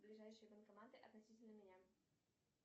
ближайшие банкоматы относительно меня